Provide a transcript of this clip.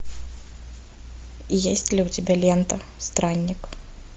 есть ли у тебя лента странник